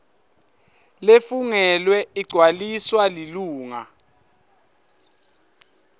lefungelwe igcwaliswa lilunga